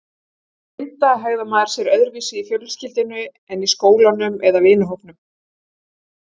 Til að mynda hegðar maður sér öðruvísi í fjölskyldunni en í skólanum eða vinahópnum.